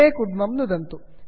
apply अप्लै इत्यत्र नुदन्तु